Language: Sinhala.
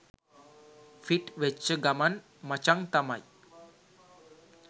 ෆිට් වෙච්ච ගමන් මචං තමයි.